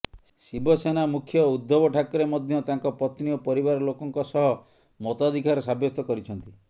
ଶିବସେନା ମୁଖ୍ୟ ଉଦ୍ଧବ ଠାକରେ ମଧ୍ୟ ତାଙ୍କ ପତ୍ନୀ ଓ ପରିବାର ଲୋକଙ୍କ ସହ ମତାଧିକାର ସାବ୍ୟସ୍ତ କରିଛନ୍ତି